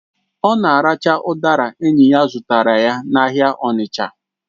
Ọ na-aracha udara enyi ya zụtara n'ahịa Onicha